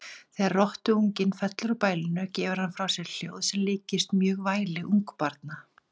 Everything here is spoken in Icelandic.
Þegar rottuungi fellur úr bælinu gefur hann frá sér hljóð sem líkist mjög væli ungbarna.